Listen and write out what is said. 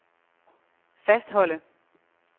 fastholde